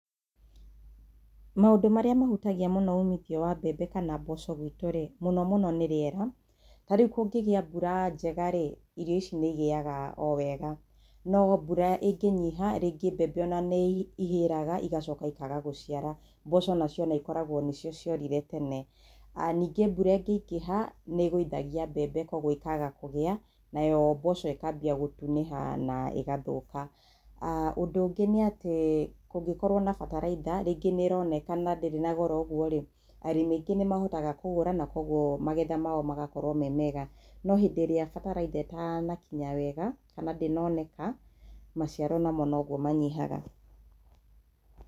Maũndũ marĩa mahutagia ũmithio wa mbembe kana mboco gwitũ rĩ, mũno mũno nĩ rĩera, ta rĩu kũngĩgia mbura njega rĩ irio ici igĩyaga wega, no mbura ĩngĩnyiha rĩngĩ ona mbembe nĩihĩraga igacoka ikaga gũciara, mboco nacio ikoragwo nĩcio ciorire tene. Ningĩ mbura ĩngĩingĩha nĩĩgũithagia mbembe koguo ikaga kũgĩa, nayo mboco ĩkambia gũtunĩha na ĩgathũka. Ũndũ ũngĩ nĩ atĩ kũngĩkorwo na bataraitha na rĩngĩ nĩroneka na ndĩrĩ na goro ũguo rĩ arĩmi aingĩ nĩmahotaga kũgũra na koguo magetha mao magakorwo me mega no hĩndĩ ĩria bataraitha ĩtanakinya wega kana ndĩnoneka maciaro noguo namo manyihaga.